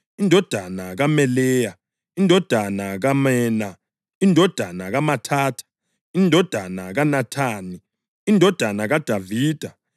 indodana kaMeleya, indodana kaMena, indodana kaMathatha, indodana kaNathani, indodana kaDavida,